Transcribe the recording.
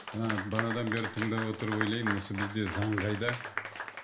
ы бағанадан бері тыңдап отырып ойлаймын осы бізде заң қайда